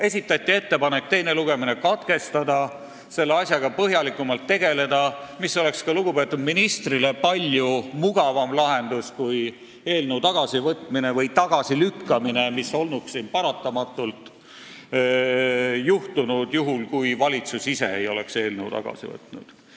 Esitati ettepanek teine lugemine katkestada ja selle asjaga põhjalikumalt tegeleda, mis oleks lugupeetud ministrile olnud palju mugavam lahendus kui eelnõu tagasivõtmine või tagasilükkamine, mis oleks siin paratamatult juhtunud, juhul kui valitsus ise ei oleks eelnõu tagasi võtnud.